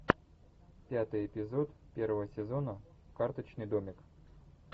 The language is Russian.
пятый эпизод первого сезона карточный домик